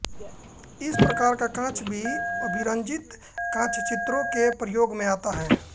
इस प्रकार का काँच भी अभिरंजित काँचचित्रों के प्रयोग में आता है